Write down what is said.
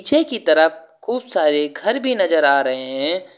ने की तरफ खूब सारे घर भी नजर आ रहे हैं।